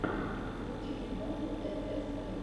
включи мне батл эр эс френдс